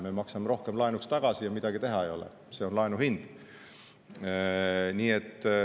Me maksame rohkem laenu tagasi ja midagi ei ole teha, see on laenu hind.